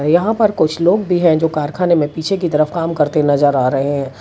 यहां पर कुछ लोग भी हैं जो कारखाने में पीछे की तरफ काम करते नजर आ रहे --